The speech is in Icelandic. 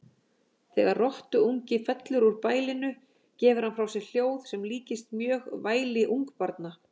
Þegar rottuungi fellur úr bælinu gefur hann frá sér hljóð sem líkist mjög væli ungbarna.